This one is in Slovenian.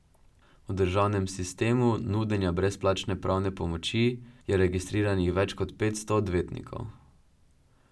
V državnem sistemu nudenja brezplačne pravne pomoči je registriranih več kot petsto odvetnikov.